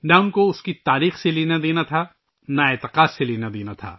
ان کا تاریخ سے کچھ لینا دینا تھا اور نہ ہی عقیدت سے کچھ لینا دینا تھا